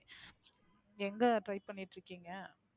எங்க Try பண்ணிட்டு இருக்கீங்க?